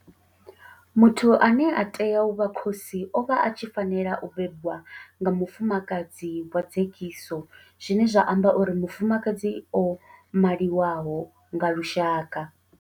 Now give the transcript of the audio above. Muthu ane a tea u vha khosi o vha a tshi fanela u bebwa nga mufumakadzi wa dzekiso zwine zwa amba uri mufumakadzi o maliwaho nga lushaka.